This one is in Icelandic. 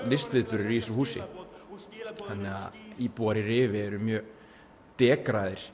listviðburðir í þessu húsi þannig að íbúar í Rifi eru mjög